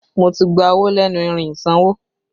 Mo ti gba owó lẹ́nu irin ìsanwó